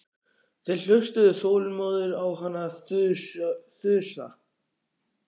Þeir hlustuðu þolinmóðir á hana þusa.